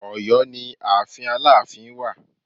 Ọ̀yọ́ ni ààfin Aláàfin wà